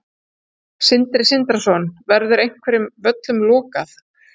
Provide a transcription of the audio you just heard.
Sindri Sindrason: Verður einhverjum völlum lokað?